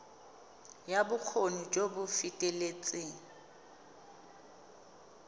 ya bokgoni jo bo feteletseng